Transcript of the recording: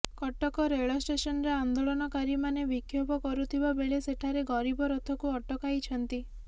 କଟକ ରେଳ ଷ୍ଟେସନରେ ଆନ୍ଦୋଳନକାରୀମାନେ ବିକ୍ଷୋଭ କରୁଥିବା ବେଳେସେଠାରେ ଗରିବ ରଥକୁ ଅଟକାଇଛନ୍ତି